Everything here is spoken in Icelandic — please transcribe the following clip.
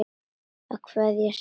Að kveðja sinn vin